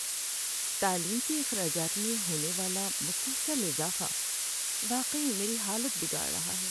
تعلیم کے اخراجات میں ہونے والا مسلسل اضافہ واقعی میری حالت بگاڑ رہا ہے۔